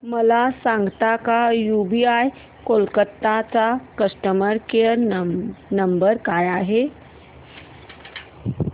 मला सांगता का यूबीआय कोलकता चा कस्टमर केयर नंबर काय आहे